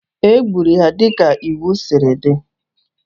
E gburu ya dịka iwu siri dị